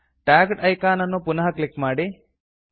tagged icon ಅನ್ನು ಪುನಃ click ಮಾಡಿ